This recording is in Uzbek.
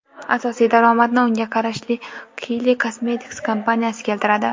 Asosiy daromadni unga qarashli Kylie Cosmetics kompaniyasi keltiradi.